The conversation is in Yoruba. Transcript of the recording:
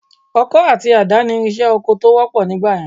Ọkọ àti àdá ìrinṣẹ́ oko tó wọ́pọ̀ nígbà yẹn